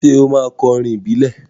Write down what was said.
Ṣé ó máa kọ orin ìbílẹ̀?